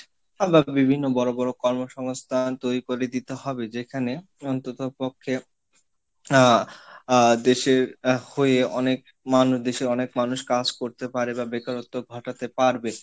বা বিভিন্ন বড় বড় কর্মসংস্থান তৈরি করে দিতে হবে, যেখানে অন্ততপক্ষে আহ আহ দেশের হয়ে অনেক মানুষ দেশের অনেক মানুষ কাজ করতে পারে বা বেকারত্ব ঘটাতে পারবে।